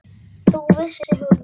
Það vissi hún vel.